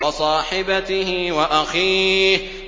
وَصَاحِبَتِهِ وَأَخِيهِ